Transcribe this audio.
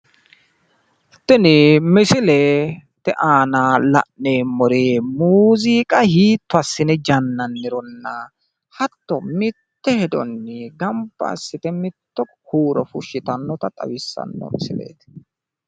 Tini misilete aana la'neemmori muziiqa hiitto assine jannannironna hatto mitte hedonni ganba assite mitto huuro fushshitannota xawissanno misileeti